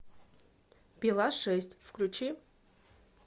пила шесть включи